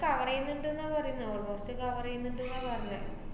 cover എയ്യുന്നുണ്ട് ~ന്നാ പറയുന്നേ almost cover എയ്യുന്നുണ്ടുന്നാ പറെഞ്ഞേ.